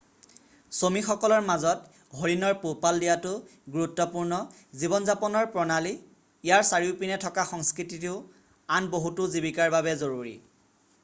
চমিসকলৰ মাজত হৰিণৰ পোহপাল দিয়াটো গুৰুত্বপূৰ্ণ জীৱন যাপনৰ প্ৰণালী ইয়াৰ চাৰিওপিনে থকা সংস্কৃতিতো আন বহুতো জীৱিকাৰ বাবে জৰুৰী